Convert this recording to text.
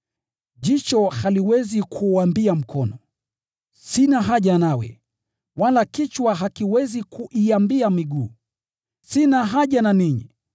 Jicho haliwezi kuuambia mkono, “Sina haja nawe!” Wala kichwa hakiwezi kuiambia miguu, “Sina haja na ninyi!”